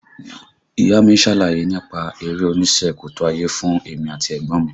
Ìyá a mi ṣàlàyé nípa eré onísẹ́ kòtò ayé fún èmi àti ẹ̀gbọ́n mi